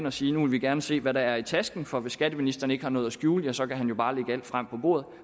og sige nu vil vi gerne se hvad der er i tasken for hvis skatteministeren ikke har noget at skjule ja så kan han jo bare lægge alt frem på bordet